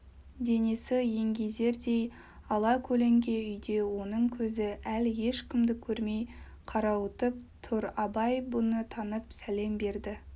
денесі еңгезердей алакөлеңке үйде оның көзі әлі ешкімді көрмей қарауытып тұр абай бұны танып сәлем берді